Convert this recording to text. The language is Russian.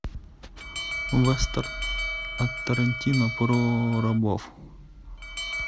вестерн от тарантино про рабов